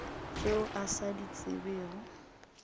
tšeo a sa di tsebego